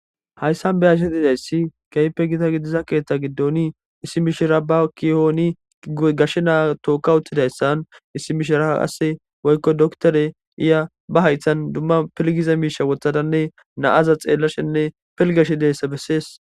Haysan be'ashe dizaysi kehipe gita gidiza keetha gidoni issi mishira ba kuyoni gashe na'a tookawutidaysa issi mishira Kase woyko doctore iza ba haythan duma pilgiza miisha wothadane na'aza xeelashene pilgashe dizaysa beses.